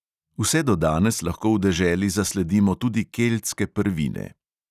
Vse do danes lahko v deželi zasledimo tudi keltske prvine.